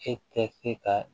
E tɛ se ka